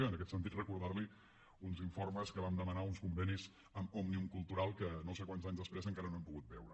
i en aquest sentit recordar li uns informes que vam demanar uns convenis amb òmnium cultural que no sé quants anys després encara no hem pogut veure